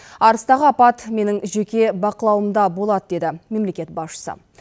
арыстағы апат менің жеке бақылауымда болады деді мемлекет басшысы